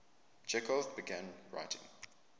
chekhov began writing